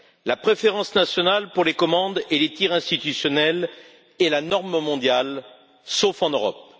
La préférence nationale pour les commandes et les tirs institutionnels est la norme mondiale, sauf en Europe.